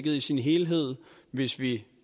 i sin helhed hvis vi